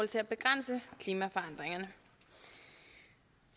til at begrænse klimaforandringerne